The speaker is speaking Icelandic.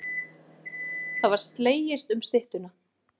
Það var slegist um styttuna.